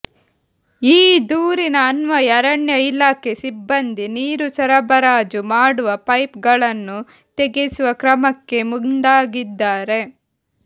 ಈ ದೂರಿನ ಅನ್ವಯ ಅರಣ್ಯ ಇಲಾಖೆ ಸಿಬ್ಬಂದಿ ನೀರು ಸರಬರಾಜು ಮಾಡುವ ಪೈಪ್ ಗಳನ್ನು ತೆಗೆಸುವ ಕ್ರಮಕ್ಕೆ ಮುಂದಾಗಿದ್ದಾರೆ